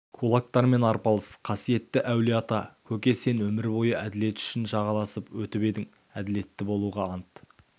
кулактармен арпалыс қасиетті әулиеата көке сен өмір бойы әділет үшін жағаласып өтіп едің әділетті болуға ант